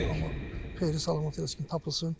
Allah xeyirli salamat eləsin ki tapılsın.